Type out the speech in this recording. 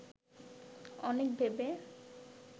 অনেক ভেবে